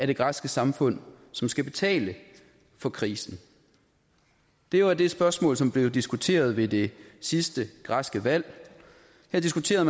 det græske samfund som skal betale for krisen det var det spørgsmål som blev diskuteret ved det sidste græske valg man diskuterede